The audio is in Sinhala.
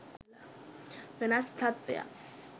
වෙනස් තත්ත්වයක්